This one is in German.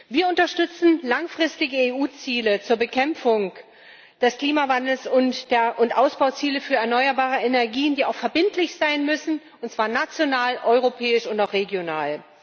Wir unterstützen langfristige EU Ziele zur Bekämpfung des Klimawandels und Ausbauziele für erneuerbare Energien, die auch verbindlich sein müssen, und zwar national, europäisch und auch regional.